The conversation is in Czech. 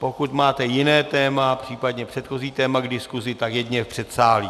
Pokud máte jiné téma, případně předchozí téma k diskusi, tak jedině v předsálí.